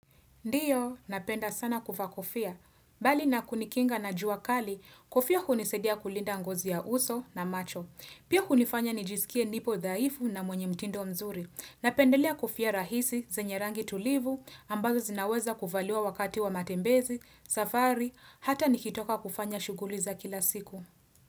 Ndiyo, napenda sana kuvaa kofia. Bali na kunikinga na jua kali, kofia hunisadia kulinda ngozi ya uso na macho. Pia hunifanya nijisikie nipo dhaifu na mwenye mtindo mzuri. Napendelea kofia rahisi, zenye rangi tulivu, ambazo zinaweza kuvaliwa wakati wa matembezi, safari, hata nikitoka kufanya shughuli za kila siku.